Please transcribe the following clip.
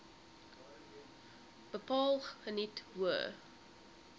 bepaal geniet hoë